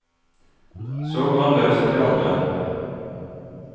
Så går han løs på de andre.